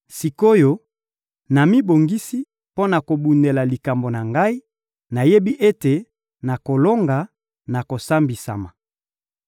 Sik’oyo, namibongisi mpo na kobundela likambo na ngai, nayebi ete nakolonga na kosambisama.